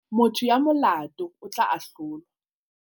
motho ya molato o tla ahlolwa